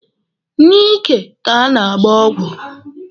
N'ike ka a na-agba ọgwụ.